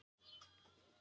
Staðfestir visku fjöldans